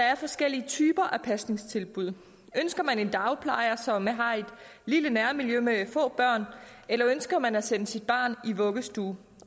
er forskellige typer af pasningstilbud ønsker man en dagplejer som har et lille nærmiljø med få børn eller ønsker man at sende sit barn i vuggestue